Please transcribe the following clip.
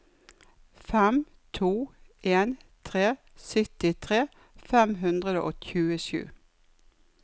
fem to en tre syttitre fem hundre og tjuesju